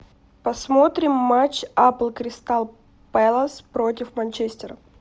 посмотрим матч апл кристал пэлас против манчестера